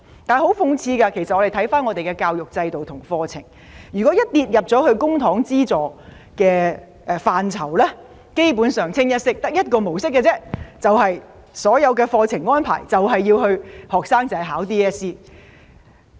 很諷刺的是，我們的教育制度和課程如果一落入公帑資助範疇，基本上只有一個模式，就是所有課程安排是為 DSE 而設。